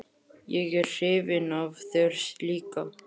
Ég er hrifin af þér líka.